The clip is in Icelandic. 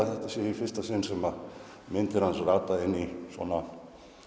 þetta sé í fyrsta sinn sem myndir hans rata í svo